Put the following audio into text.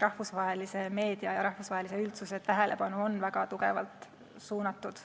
Rahvusvahelise meedia ja rahvusvahelise üldsuse tähelepanu on ikkagi väga tugevalt suunatud